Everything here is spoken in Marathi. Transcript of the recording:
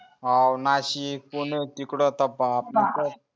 हवं नाशिक पुणे तिकड तर बाप रे